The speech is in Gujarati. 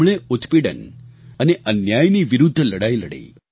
તેમણે ઉત્પીડન અને અન્યાયની વિરુદ્ધ લડાઈ લડી